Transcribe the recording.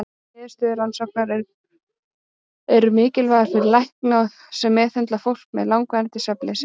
Niðurstöður rannsóknarinnar eru mikilvægar fyrir lækna sem meðhöndla fólk með langvarandi svefnleysi.